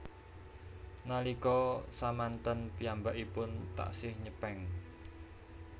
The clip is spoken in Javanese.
Nalika samanten piyambakipun taksih nyepeng